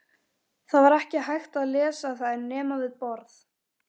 Það var ekki hægt að lesa þær nema við borð.